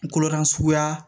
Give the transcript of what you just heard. Kolokaru suguya